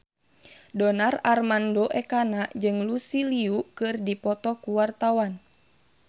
Donar Armando Ekana jeung Lucy Liu keur dipoto ku wartawan